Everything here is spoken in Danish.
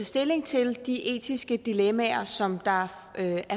stilling til de etiske dilemmaer som der er